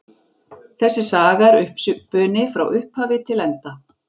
Þessi saga er uppspuni frá upphafi til enda.